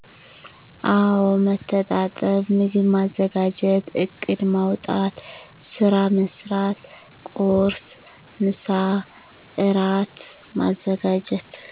አወ መተጣጠብ ምግብ ማዘጋጀት እቅድ ማዉጣት ስራ መስራት ቁርስ፣ ምሳ፣ እራት ማዘጋጀት።